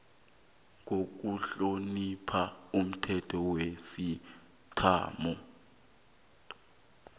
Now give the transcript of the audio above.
ngokuhlonipha umthetho wesiislamu